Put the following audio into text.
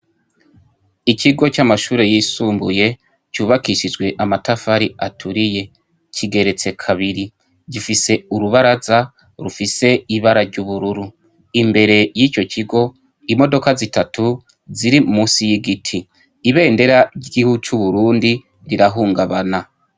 Ikigo c'amashure yisumbuye cubakishijwe amatafari aturiye. Kigeretse kabiri. Gifise urubaraza rufise ibara ry'ubururu. Imbere y'ico kigo, imodoka zitatu ziri musi y'igiti. Ibendera ry'igihugu c'uburundi rirahungabana.